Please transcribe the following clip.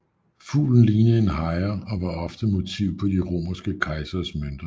Fuglen lignede en hejre og var ofte motiv på de romerske kejseres mønter